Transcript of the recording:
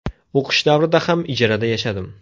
O‘qish davrida ham ijarada yashadim.